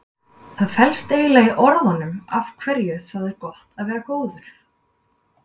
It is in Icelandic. Það felst eiginlega í orðunum af hverju það er gott að vera góður.